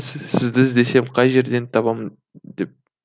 сізді іздесем қай жерден де табам деп